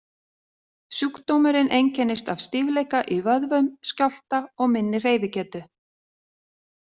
Sjúkdómurinn einkennist af stífleika í vöðvum, skjálfta og minni hreyfigetu.